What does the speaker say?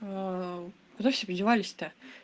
куда все подевались то